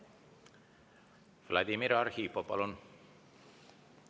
Vladimir Arhipov, palun!